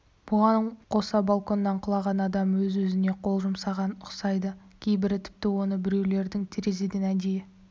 бұған қоса балконнан құлаған адам өз-өзіне қол жұмсағанға ұқсамайды кейбірі тіпті оны біреулердің терезеден әдейі